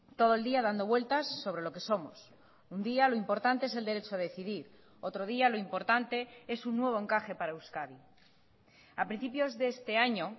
todo el día dando vueltas sobre lo que somos un día lo importante es el derecho a decidir otro día lo importante es un nuevo encaje para euskadi a principios de este año